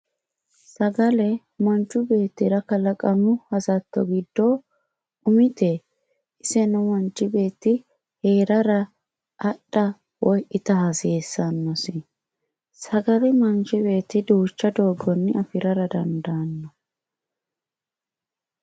sagaler manchu beettira kalaqamu hasatto giddo umite iseno manchu beetti heerara axxa woy ita hasiisannosi sagale manchu beetti duucha doganni afirara dandaano.